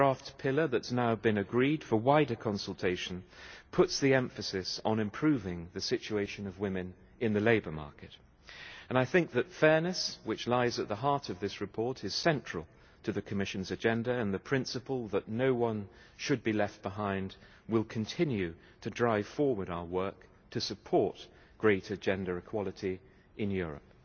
The draft pillar that's now been agreed for wider consultation puts the emphasis on improving the situation of women in the labour market. I think that fairness, which lies at the heart of this report, is central to the Commission's agenda, and the principle that no one should be left behind will continue to drive forward our work to support greater gender equality in Europe.